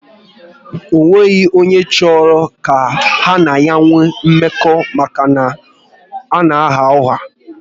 Ọ nweghị onye chọrọ ka ha na ya nwee mmekọ maka na ọ na agha ụgha